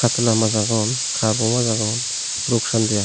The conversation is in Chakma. katla maj agon kharpo maj agon rup chande agon.